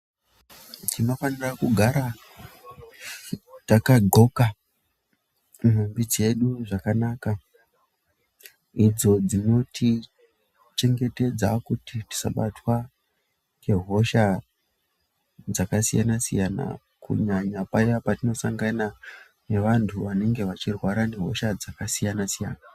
Tinofanira kugara takadxoka nhumbi dzedu zvakanaka idzo dzinotichengetedza kuti tisabatwa ngehosha dzakasiyana siyana kunyanya paya patinosangana nevanhu vanenge vachirwara ngehosha dzakasiyana siyana.